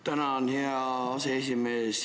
Tänan, hea aseesimees!